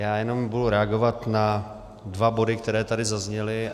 Já jenom budu reagovat na dva body, které tady zazněly.